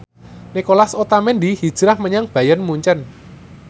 Nicolas Otamendi hijrah menyang Bayern Munchen